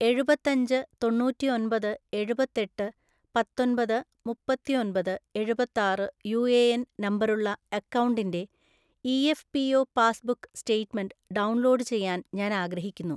ഏഴുപത്തഞ്ച് തൊണ്ണൂറ്റി ഒൻപത് എഴുപത്തെട്ട് പത്തൊൻപത് മുപ്പത്തി ഒൻപത് എഴുപത്താറ് യു എ എൻ നമ്പറുള്ള അക്കൗണ്ടിൻ്റെ E A F P O passbook statement download ചെയ്യാൻ ഞാൻ ആഗ്രഹിക്കുന്നു.